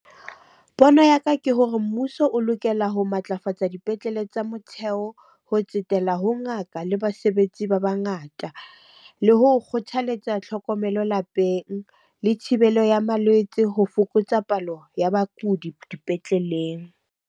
Pono ya ka ke hore mmuso o lokela ho matlafatsa dipetlele tsa motheo ho tsetela ho ngaka le basebetsi ba bangata. Le ho kgothaletsa tlhokomelo lapeng, le thibelo ya malwetse ho fokotsa palo ya bakudi dipetleleng.